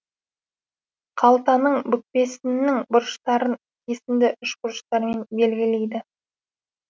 қалтаның бүкпесіннің бұрыштарын кесінді үшбұрыштармен белгілейді